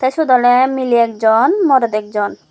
te siyot awle miley ekjon morot ekjon.